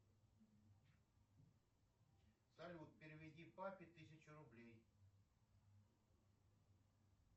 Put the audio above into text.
салют переведи папе тысячу рублей